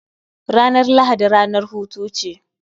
Ranar Lahadi ranar hutu ce